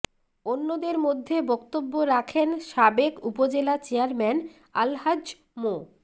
অন্যদের মধ্যে বক্তব্য রাখেন সাবেক উপজেলা চেয়ারম্যান আলহাজ্ব মো